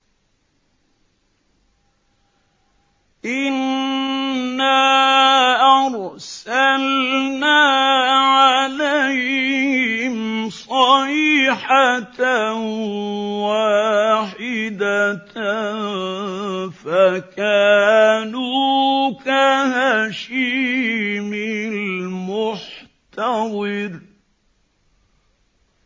إِنَّا أَرْسَلْنَا عَلَيْهِمْ صَيْحَةً وَاحِدَةً فَكَانُوا كَهَشِيمِ الْمُحْتَظِرِ